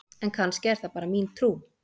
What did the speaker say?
en kannski er það bara mín trú!